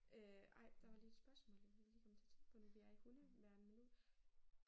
Øh ej der var lige et spørgsmål jeg hurtigt lige kom til at tænke nu vi er i hundeverdenen nu